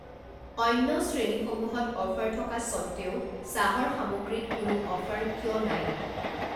অন্য শ্ৰেণীসমূহত অফাৰ থকা সত্ত্বেও চাহৰ সামগ্ৰীত কোনো অফাৰ কিয় নাই?